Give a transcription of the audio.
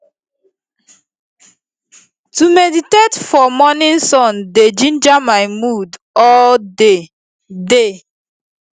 to meditate for morning sun dey ginger my mood all day day